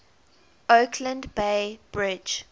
oakland bay bridge